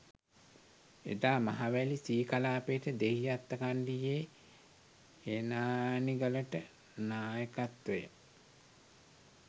එදා මහවැලි සී කලාපයට දෙහිඅත්තකණ්ඩියේ හේනානිගලට නායකත්වය